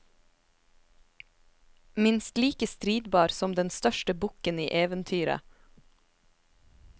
Minst like stridbar som den største bukken i eventyret.